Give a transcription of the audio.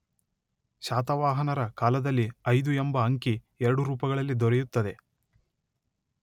ಶಾತವಾಹನರ ಕಾಲದಲ್ಲಿ ಐದು ಎಂಬ ಅಂಕಿ ಎರಡು ರೂಪಗಳಲ್ಲಿ ದೊರೆಯುತ್ತದೆ.